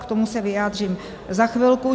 K tomu se vyjádřím za chvilku.